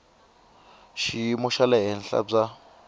xiyimo xa le henhla bya